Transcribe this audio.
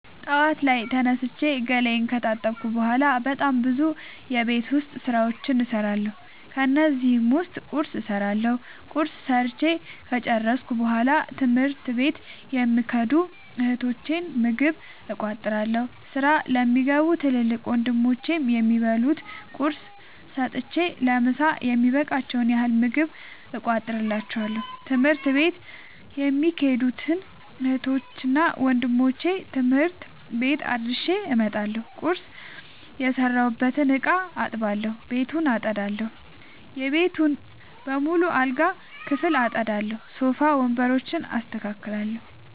ጠዋት ላይ ተነስቼ ገላየን ከታጠብኩ በሗላ በጣም ብዙ የቤት ዉስጥ ስራዎችን እሠራለሁ። ከነዚህም ዉስጥ ቁርስ እሠራለሁ። ቁርስ ሠርቸ ከጨረሥኩ በሗላ ትምህርት ለሚኸዱ እህቶቸ ምግብ እቋጥርላቸዋለሁ። ስራ ለሚገቡ ትልቅ ወንድሞቼም የሚበሉት ቁርስ ሰጥቸ ለምሣ የሚበቃቸዉን ያህል ምግብ እቋጥርላቸዋለሁ። ትምህርት ቤት የሚኸዱትን እህትና ወንድሞቼ ትምህርት ቤት አድርሼ እመጣለሁ። ቁርስ የሰራሁበትን እቃ አጥባለሁ። ቤቱን አጠዳለሁ። የቤተሰቡን በሙሉ የአልጋ ክፍል አጠዳለሁ። ሶፋ ወንበሮችን አስተካክላለሁ።